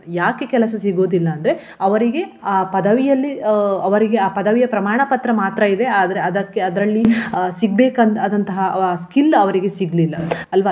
ಯಾಕೆ ಕೆಲಸ ಸಿಗುವುದಿಲ್ಲ ಅಂದ್ರೆ ಅವರಿಗೆ ಆ ಪದವಿಯಲ್ಲಿ ಅಹ್ ಅವರಿಗೆ ಆ ಪದವಿಯ ಪ್ರಮಾಣ ಪತ್ರ ಮಾತ್ರ ಇದೆ ಆದ್ರೆ ಅದಕ್ಕೆ ಅದರಲ್ಲಿ ಅಹ್ ಸಿಗ್ಬೇಕ್ ಆದಂತಹ skill ಅವರಿಗೆ ಸಿಗ್ಲಿಲ್ಲ, ಅಲ್ವ?